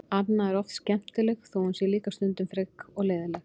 Anna er oft skemmtileg þó að hún sé líka stundum frek og leiðinleg.